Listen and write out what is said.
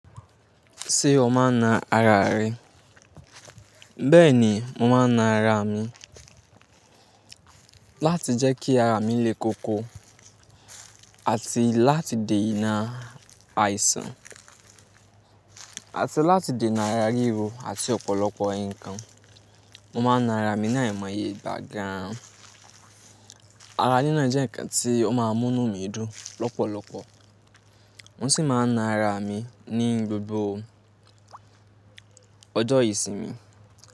Ṣé o máa na ara rẹ? Bẹ́ẹ̀ni, mo máa na ara mi láti jẹ́ kí ara mi lé koko àti láti de inà àìsàn, àti láti dè inà ara ríro àti ọ̀pọ̀lọpọ̀ ikan. Mo máa na ara mi ní amọye igbà gàn. Ara nína jẹ́ ǹkan tí ó máa mú inú mi dùn lọ́pọ̀lọpọ̀. Mo sì máa na ara mi ní gbogbo ọjọ́ ìsinmi.